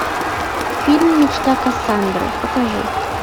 фильм мечта кассандры покажи